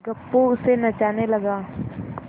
गप्पू उसे नचाने लगा